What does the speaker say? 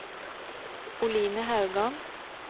Oline Haugan